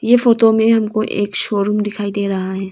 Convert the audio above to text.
ये फोटो में हमको एक शोरूम दिखाई दे रहा है।